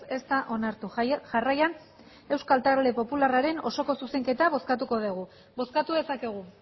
ez da onartu jarraian euskal talde popularraren osoko zuzenketa bozkatuko dugu bozkatu dezakegu